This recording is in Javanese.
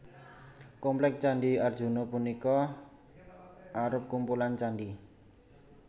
Komplék Candhi Arjuna punika arup kumpulan candhi